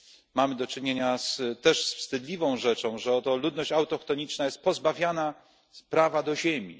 mamy do czynienia z wstydliwą rzeczą, że oto ludność autochtoniczna jest pozbawiana prawa do ziemi.